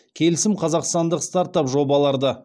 келісім қазақстандық стартап жобаларды